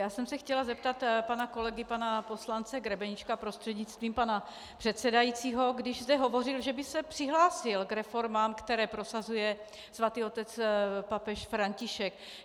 Já jsem se chtěla zeptat pana kolegy, pana poslance Grebeníčka prostřednictvím pana předsedajícího, když zde hovořil, že by se přihlásil k reformám, které prosazuje Svatý Otec papež František.